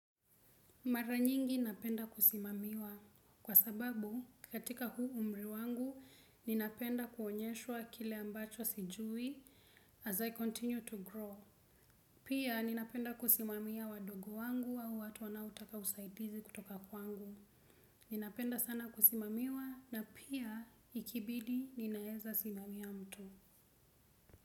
Mara nyingi napenda kusimamiwa. Kwa sababu, katika huu umri wangu, ninapenda kuonyeshwa kile ambacho sijui as I continue to grow. Pia, ninapenda kusimamia wadogo wangu au watu wanaotaka usaidizi kutoka kwangu. Ninapenda sana kusimamiwa na pia, ikibidi, ninaezasimamia mtu.